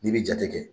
N'i bɛ jate kɛ